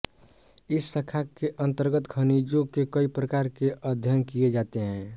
इस शाखा के अंतर्गत खनिजों के कई प्रकार के अध्ययन किये जाते हैं